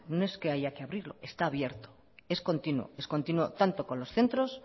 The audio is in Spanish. no es que haya que abrirlo está abierto es continuo es continuo tanto con los centros